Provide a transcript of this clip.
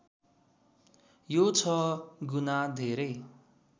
यो छ गुना धेरै